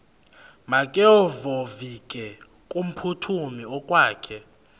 makevovike kumphuthumi okokwakhe